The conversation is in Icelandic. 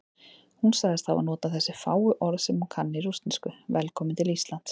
Hún sagðist hafa notað þessi fáu orð sem hún kann í rússnesku: Velkominn til Íslands.